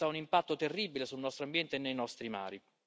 Questo ha un impatto terribile sul nostro ambiente e sui nostri mari.